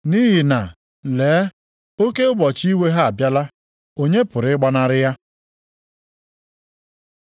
Nʼihi na, lee oke ụbọchị iwe ha abịala, onye pụrụ ịgbanarị ya?”